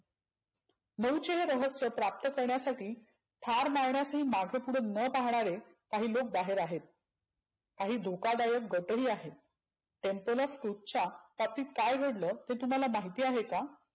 नऊचे हे रहस्य प्राप्त करण्यासाठी ठार मारण्यातही मागे पुढे न पाहणारे काही लोक बाहेर आहेत. काही धोकादायी गट ही आहेत. संतलू तुच्या बाबतीत काय घडलं हे तुम्हाला महिती आहे का?